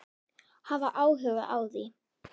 Hafa áhuga á því.